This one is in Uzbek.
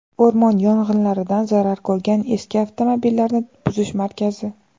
O‘rmon yong‘inlaridan zarar ko‘rgan eski avtomobillarni buzish markazi.